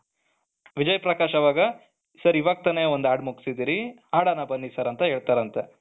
ವಿಜಯ್ ಪ್ರಕಾಶ್ ಅವಾಗ ಸರ್ ಇವಾಗ್ ತಾನೇ ಒಂದು ಹಾಡು ಮುಗಿಸಿದ್ದೀರಿ, ಆಡಣ ಬನ್ನಿ ಸರ್ ಅಂತ ಹೇಳ್ತಾರಂತೆ.